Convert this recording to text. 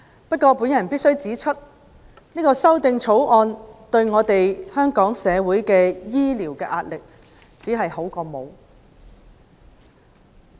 不過，我必須指出，《條例草案》對紓緩香港的醫療壓力，只是聊勝於無。